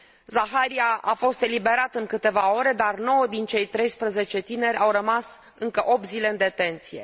Zakaria a fost eliberat în câteva ore, dar 9 din cei 13 tineri au rămas încă 8 zile în detenție.